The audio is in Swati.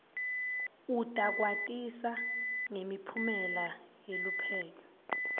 utakwatisa ngemiphumela yeluphenyo